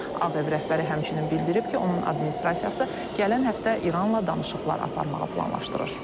Ağ Ev rəhbəri həmçinin bildirib ki, onun administrasiyası gələn həftə İranla danışıqlar aparmağı planlaşdırır.